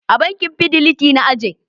A bankin Fidiliti na aje.